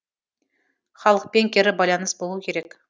халықпен кері байланыс болу керек